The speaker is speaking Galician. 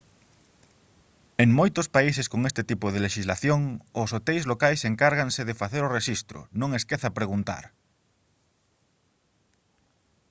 en moitos países con este tipo de lexislación os hoteis locais encargaranse de facer o rexistro non esqueza preguntar